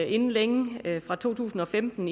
inden længe nemlig fra to tusind og femten